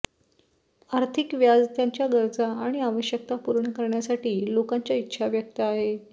आर्थिक व्याज त्यांच्या गरजा आणि आवश्यकता पूर्ण करण्यासाठी लोकांच्या इच्छा व्यक्त आहे